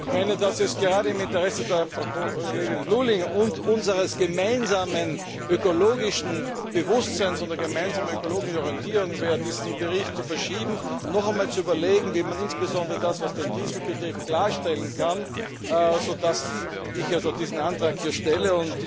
Ich meine, dass es gerade im Interesse der Frau Kollegin Lulling und unseres gemeinsamen ökologischen Bewusstseins und der gemeinsamen ökologischen Orientierung wäre, diesen Bericht zu verschieben, noch einmal zu überlegen, wie man insbesondere das, was den Diesel betrifft, klarstellen kann, so dass ich diesen Antrag hier stelle.